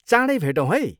चाँडै भेटौँ है!